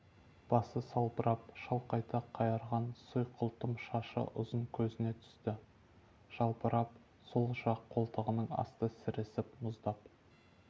басы салбырап шалқайта қайырған сұйқылтым ұзын шашы көзіне түсті жалбырап сол жақ қолтығының асты сіресіп мұздап